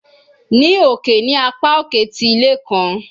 Ni oke ni apa oke ti ile kan